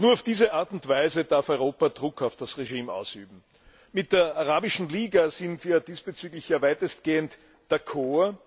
Nur auf diese Art und Weise darf Europa Druck auf das Regime ausüben. Mit der Arabischen Liga sind wir ja diesbezüglich weitestgehend d'accord.